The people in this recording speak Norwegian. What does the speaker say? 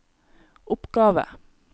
oppgave